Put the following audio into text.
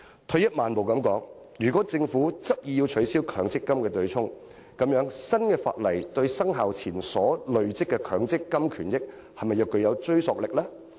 退一萬步來說，如果政府執意要取消強積金對沖機制，新法例對生效前所累積的強積金權益是否具追溯力？